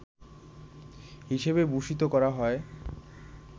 হিসেবে ভূষিত করা হয়